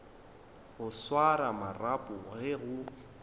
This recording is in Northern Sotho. go swara marapo ge go